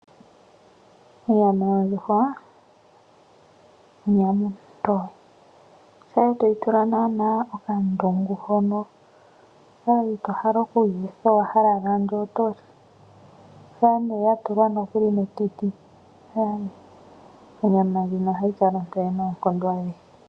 Onyama yondjuhwa onyama ontoye, shampa etoyi tula naana okandungu hoka ito hala okuyi etha, owahala ala ando oto li, shampa nduno ya tulwa metiti onyama ndjino ohayi kala ontoye noonkondo adhihe.